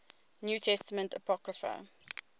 new testament apocrypha